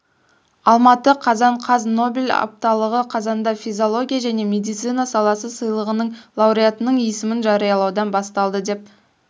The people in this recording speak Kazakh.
алматы қазан қаз нобель апталығы қазанда физиология және медицина саласы сыйлығының лауреатының есімін жариялаудан басталады деп